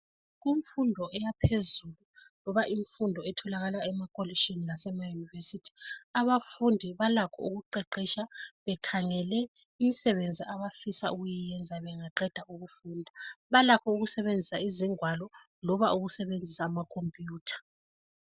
Kumfundo yaphezulu loba imfundo etholakala emakolitshini lasemayunivesithi, abafundi balakho ukuqeqetsha bekhangele imisebenzi abafisa ukuyiyenza bengaqeda ukufunda balakho ukusebenzisa izingwalo loba ukusebenzisa amakhompuyutha.